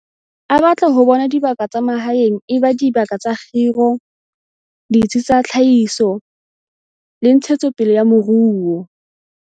A batla ho bona dibaka tsa mahaeng e ba dibaka tsa kgiro, ditsi tsa tlhahiso le ntshetso pele ya moruo.